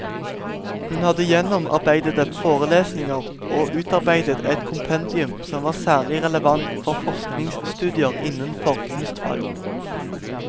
Hun hadde gjennomarbeidede forelesninger, og utarbeidet et kompendium som var særlig relevant for forskningsstudier innenfor kunstfag.